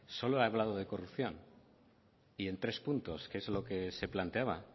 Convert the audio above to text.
solo he hablado de corrupción y en tres puntos que es lo que se planteaba